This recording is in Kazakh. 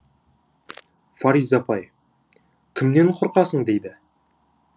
фариза апай кімнен қорқасың дейді